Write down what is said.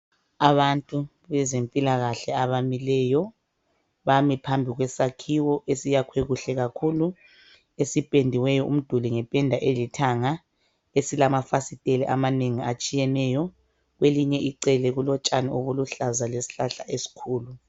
Abantu bezempilakahle bame phambi kwesakhiwo esakhiwe kuhle kakhulu. Sipendiwe umduli ngependa elithanga silamafasitela amanengi atshiyeneyo. Kwelinye icele kulotshani obuluhlaza lesihlahla esikhulu.